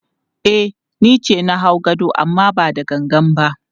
E, ni ce na hau gadon amma ba da gangan ba.